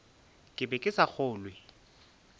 ke be ke sa kgolwe